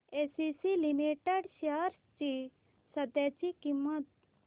ACC limited shares ची सध्याची किंमत